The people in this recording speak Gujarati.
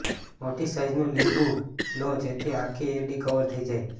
મોટી સાઈઝનું લીંબુ લો જેથી આખી એડી કવર થઇ જાય